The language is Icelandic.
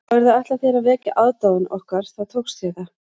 Hafirðu ætlað þér að vekja aðdáun okkar þá tókst þér það